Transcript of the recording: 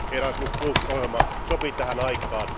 Erasmus ohjelma sopii tähän aikaan.